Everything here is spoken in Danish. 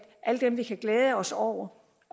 alle dem vi kan glæde os over